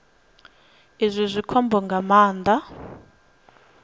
izwi zwi khombo nga maanḓa